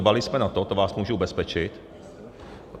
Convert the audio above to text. Dbali jsme na to, to vás můžu ubezpečit.